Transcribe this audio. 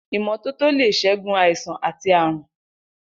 Imọtótó lé ṣègún àisán àtí àrún